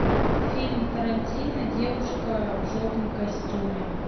фильм тарантино девушка в желтом костюме